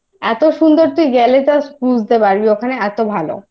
এতো সুন্দর যে গেলে তোর তুই বুঝতে পারবি ওখানে এতো ভালো